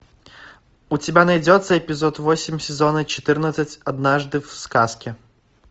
у тебя найдется эпизод восемь сезона четырнадцать однажды в сказке